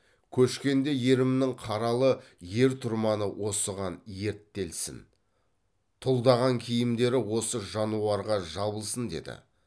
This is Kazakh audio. көшкенде ерімнің қаралы ер тұрманы осыған ерттелсін тұлдаған киімдері осы жануарға жабылсын деді